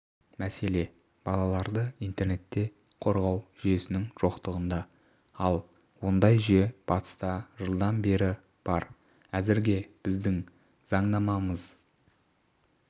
мәселе балаларды интернетте қорғау жүйесінің жоқытығында ал ондай жүйе батыста жылдан бері бар әзірге біздің заңнамамыз